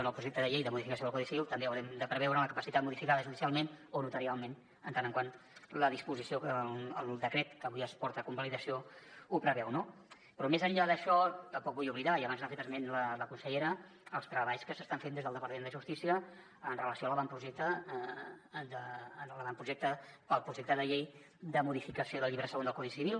en el projecte de llei de modificació del codi civil també haurem de preveure la capacitat modificada judicialment o notarialment en tant que el decret que avui es porta a convalidació ho preveu no però més enllà d’això tampoc vull oblidar i abans n’ha fet esment la consellera els treballs que s’estan fent des del departament de justícia amb relació a l’avantprojecte per al projecte de llei de modificació del llibre segon del codi civil